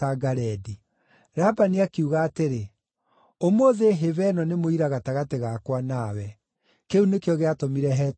Labani akiuga atĩrĩ, “Ũmũthĩ hĩba ĩno nĩ mũira gatagatĩ gakwa nawe.” Kĩu nĩkĩo gĩatũmire hetwo Galeedi.